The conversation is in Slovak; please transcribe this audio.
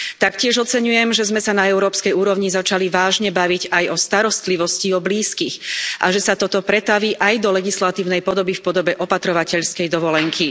Taktiež oceňujem, že sme sa na európskej úrovni začali vážne baviť aj o starostlivosti o blízkych a že sa toto pretaví aj do legislatívnej podoby v podobe opatrovateľskej dovolenky.